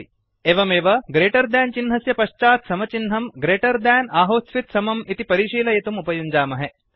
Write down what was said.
एवमेव greater than चिह्नस्य पश्चात् समचिह्नं ग्रेटर् देन् आहोस्वित् समं इति परिशीलयितुम् उपयुञ्जामहे